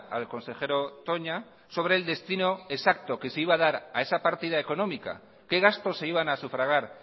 al consejero toña sobre el destino exacto que se iba a dar a esa partida económica qué gasto se iban a sufragar